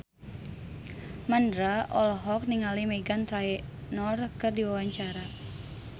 Mandra olohok ningali Meghan Trainor keur diwawancara